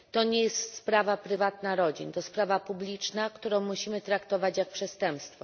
To nie jest sprawa prywatna rodzin to sprawa publiczna, którą musimy traktować jak przestępstwo.